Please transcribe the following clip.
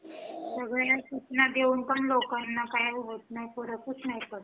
अग ह्या सूचना देऊन पण लोकाना हयात काय फरकच नाही पडत अग